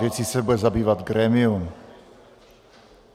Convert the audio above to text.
Věcí se bude zabývat grémium.